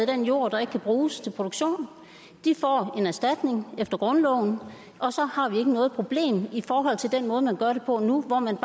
den jord der ikke kan bruges til produktion de får en erstatning efter grundloven og så har vi ikke noget problem i forhold til den måde man gør det på nu hvor man